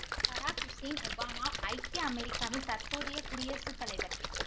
பராக் Hussein Obama ஐக்கிய அமெரிக்காவின் தற்போதைய குடியரசு தலைவர்